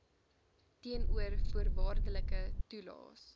teenoor voorwaardelike toelaes